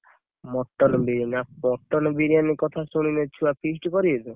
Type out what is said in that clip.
Mutton biryani ଆଉ mutton biryani କଥା ଶୁଣିଲେ ଛୁଆ feast କରିବେ ତ?